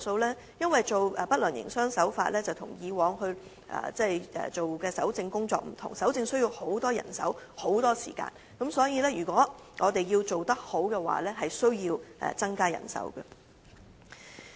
由於處理不良營商手法個案跟以往的搜證工作不同，需要投入大量人手和時間，所以如要取得良好效果便極度需要增加人手。